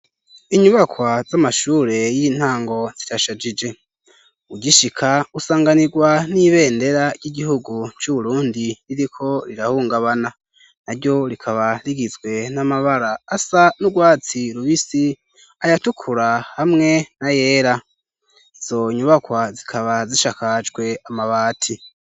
Inyubakwa z'amashure y'intango zirashajije ugishika usanganirwa n'ibendera ry'igihugu c'uburundi ririko rirahungabana na ryo rikaba rigizwe n'amabara asa n'urwatsi rubisi ayatukura hamwe na yera izonyubakwa zikaba hazishakajwe amabati.